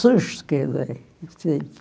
susto que eu dei.